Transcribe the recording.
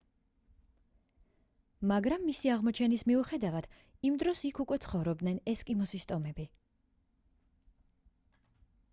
მაგრამ მისი აღმოჩენის მიუხედავად იმ დროს იქ უკვე ცხოვრობდნენ ესკიმოს ტომები